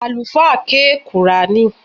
Àlùfáà ké qùrání